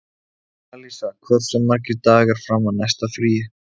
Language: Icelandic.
Alísa, hversu margir dagar fram að næsta fríi?